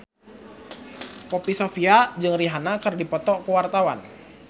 Poppy Sovia jeung Rihanna keur dipoto ku wartawan